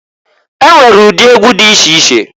E nwere ụdị egwu di iche iche.